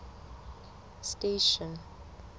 station